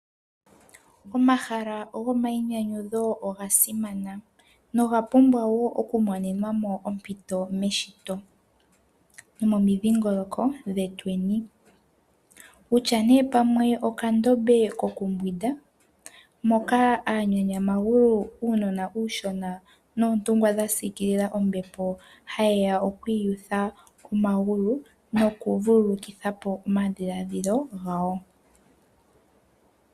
Omahala gomayinyanyudho oga simana noga pumbwa wo okumonenwa mo ompito meshito nomomidhingoloko dhetweni, kutya nduno okandombe kokumbwinda moka aanyanyamagulu noontungwa dha siikila ombepo haye ya oku iyutha omagulu nokuvululukitha omadhiladhilo gawo.